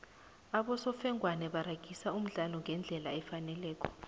abosofengwana baragisa umdlalo ngendlela efaneleko